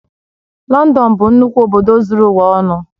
Lọndọn bụ nnukwu obodo zuru ụwa ọnụ